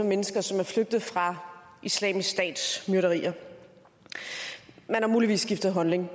mennesker som er flygtet fra islamisk stats myrderier man har muligvis skiftet holdning